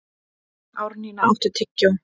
Árnína, áttu tyggjó?